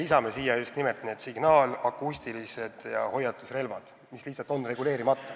Lisame sinna just nimelt signaal-, akustilised ja hoiatusrelvad, mille kasutus lihtsalt on reguleerimata.